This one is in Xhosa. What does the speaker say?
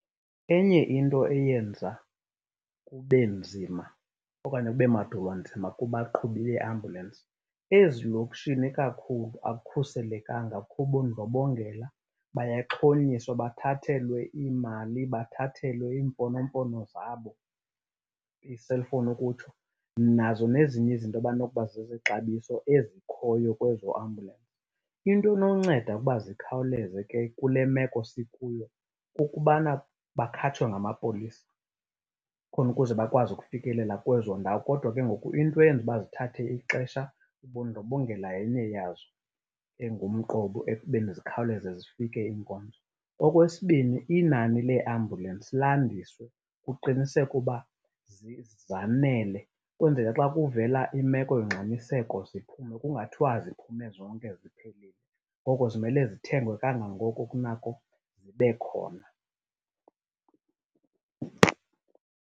Enye into eyenza kube nzima okanye kube madolwanzima kubaqhubi beeambulensi, ezilokishini ikakhulu akukhuselekanga kukho ubundlobongela. Bayaxhonyiswa bathathelwe iimali, bathathelwe imfonomfono zabo, ii-cellphone ukutsho, nazo nezinye izinto abanokuba zezexabiso ezikhoyo kwezo ambulensi. Into enonceda ukuba zikhaleze ke kule meko sikuyo kukubana bakhatshwe ngamapolisa khona ukuze bakwazi ukufikelela kwezo ndawo. Kodwa ke ngoku into eyenza uba zithathe ixesha, ubundlobongela yenye yazo engumqobo ekubeni zikhawuleze zifike iinkonzo. Okwesibini, inani leeambulensi landiswe, kuqinisekwe uba zanele. Kwenzele xa kuvela imeko yongxamiseko ziphume kungathiwa ziphume zonke ziphelile. Ngoko zimelwe zithengwe kangangoko kunako zibe khona.